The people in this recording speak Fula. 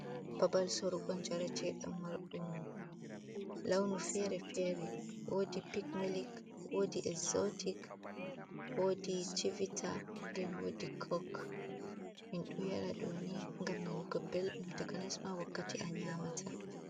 Babal sorgo yaretedam dan mar dum launu fere-fere wodi pikmilic wodi exzotic wodi civita den wodi kok in do yara doni gam nani go beldum takanasma wakkati a yamata.